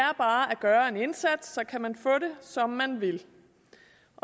er bare at gøre en indsats så kan man få det som man vil